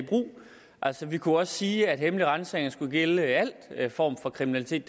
i brug altså vi kunne også sige at hemmelig ransagning skulle gælde al form for kriminalitet